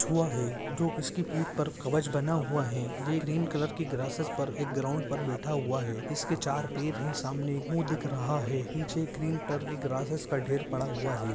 कछुवा है जो इसकी पीठ पर कब्ज बना हुवा है जे ग्रीन कलर की ग्रासेस पर एक ग्राउंड पर बेठा हुवा है इसके चार पेर है सामने एक मुह दिख रहा है पीछे ग्रीन कलर की ग्रासेस ढेर पड़ा हुवा है।